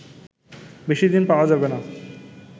বেশি দিন পাওয়া যাবেনা